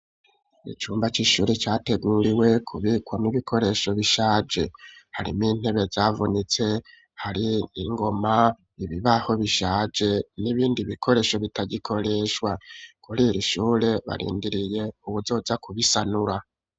Icumba c'ishuri categuriwe ,kubikwa mwo ibikoresho bishaje, harimwo intebe zavunitse, hari ingoma, ibibaho bishaje, n'ibindi bikoresho bitagikoreshwa, kuriri ishure barindiriye uwuzoza kubisanura.